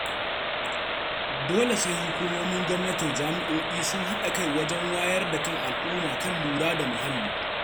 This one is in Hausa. Dole sai hukumomin gwamnati da jami'o'i sun haɗa kai wajen wayar da kan al'umma kan lura da muhalli.